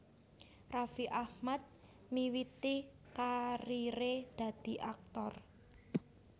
Raffi Ahmad miwiti kariré dadi aktor